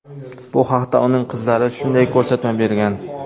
Bu haqda uning qizlari shunday ko‘rsatma bergan.